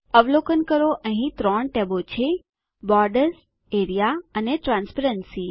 અવલોકન કરો કે અહીં 3 ટેબો છે બોર્ડર્સ એઆરઇએ અને ટ્રાન્સપેરન્સી